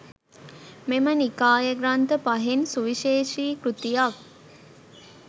මෙම නිකාය ග්‍රන්ථ 5න් සුවිශේෂී කෘතියක්